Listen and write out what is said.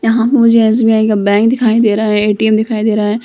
यहाँ मुझे एस.बी.आई. का बैंक दिखाई दे रहा है ए.टी.एम. दिखाई दे रहा है।